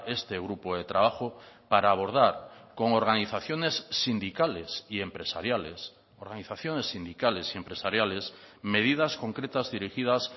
este grupo de trabajo para abordar con organizaciones sindicales y empresariales organizaciones sindicales y empresariales medidas concretas dirigidas